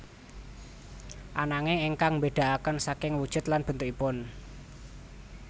Ananging ingkang mbédakaken saking wujud lan bentukipun